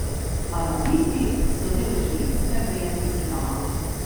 Alaviti so del šiitske veje islama.